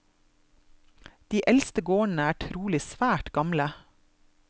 De eldste gårdene er trolig svært gamle.